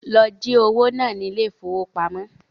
Lọ jí owó náà ní ile-ìfowópamó